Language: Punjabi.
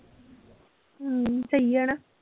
ਹਮ ਸਹੀ ਆ ਨਾ।